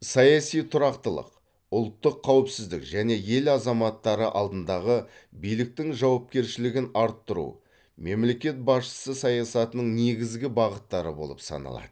саяси тұрақтылық ұлттық қауіпсіздік және ел азаматтары алдындағы биліктің жауапкершілігін арттыру мемлекет басшысы саясатының негізгі бағыттары болып саналады